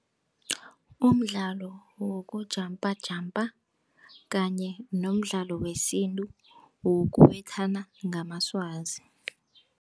Umdlalo wokujampajampa kanye nomdlalo wesintu wokubethana ngamaswazi.